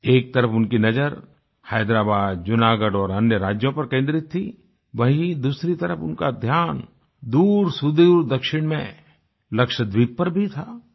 एक तरफ उनकी नज़र हैदराबाद जूनागढ़ और अन्य राज्यों पर केन्द्रित थी वहीँ दूसरी तरफ उनका ध्यान दूरसुदूर दक्षिण में लक्षद्वीप पर भी था